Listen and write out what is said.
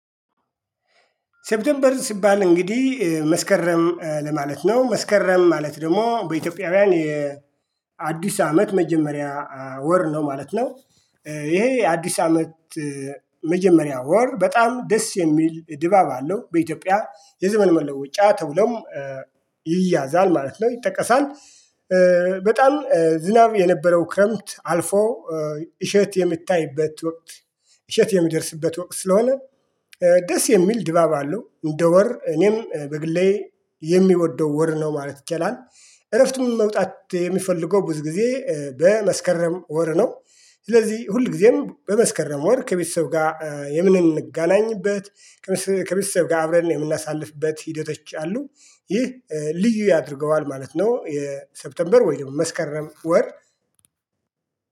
ሴፕቴምበር ሲባል እንግዲህ መስከረም ለማለት ነው መስከረም ማለት ደግሞ በኢትዮጵያውያን የአዲስ አመት መጀመሪያ ወር ነው ማለት ነው። ይሄ የአዲስ አመት መጀመሪያ ወር በጣም ደስ የሚል ድባብ አለው በኢትዮጵያ የዘመን መለወጫ ተብሎም ይያዛል ማለት ነው ይጠቀሳል። በጣም ዝናብ የነበረው ክረምት አልፎ እሸት የምታይበት ወቅት። እሸት የሚደርስበት ወቅት ስለሆነ ደስ የሚል ድባብ አለው። እንደ ወር እኔም በግሌ የሚወደው ወር ነው ማለት ይቻላል። እረፍቱን መውጣት የሚፈልገው ብዙ ጊዜ በመስከረም ወር ነው። ስለዚህ ሁል ጊዜም በመስከረም ወር ከቤተሰብ ጋር የምንገናኝበት ከቤተሰብ ጋር አብረን የምናሳልፍበት ሂደቶች አሉ። ይህ ልዩ ያደርገዋል ማለት ነው። የሴፕቴምበር ወይ ደግሞ መስከረም ወር